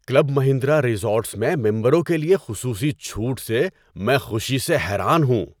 Club Mahindra resorts میں ممبروں کے لیے خصوصی چھوٹ سے میں خوشی سے حیران ہوں۔